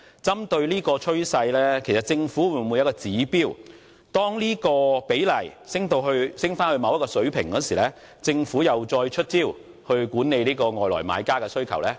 針對這個趨勢，政府會否制訂指標，每當此比例升至某一水平，便再次出招管理外地買家的需求？